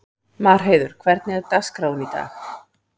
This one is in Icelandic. Marheiður, hvernig er dagskráin í dag?